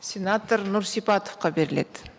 сенатор нұрсипатовқа беріледі